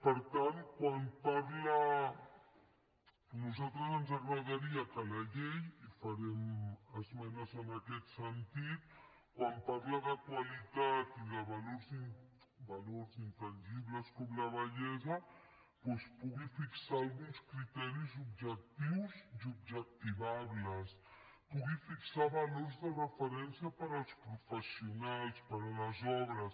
per tant a nosaltres ens agradaria que la llei i farem esmenes en aquest sentit quan parla de qualitat i de valors intangibles com la bellesa doncs pogués fixar alguns criteris objectius i objectivables pogués fixar valors de referència per als professionals per a les obres